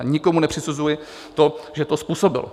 A nikomu nepřisuzuji to, že to způsobil.